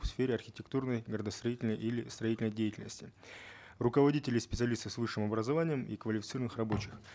в сфере архитектурной градостроительной или строительной деятельности руководителей специалистов с высшим образованием и квалифицированных рабочих